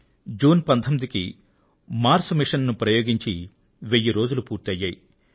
June 19వ తేదీన Mars mission జరిగి వెయ్యి రోజులు పూర్తి అయ్యాయి